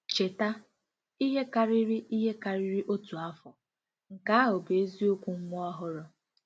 Cheta, ihe karịrị ihe karịrị otu afọ, nke ahụ bụ eziokwu nwa ọhụrụ.